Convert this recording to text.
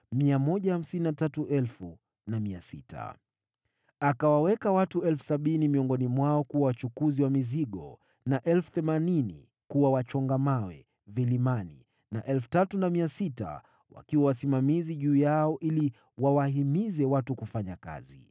Akawaweka watu 70,000 miongoni mwao kuwa wachukuzi wa mizigo, na 80,000 kuwa wachonga mawe vilimani, na 3,600 wakiwa wasimamizi juu yao ili wawahimize watu kufanya kazi.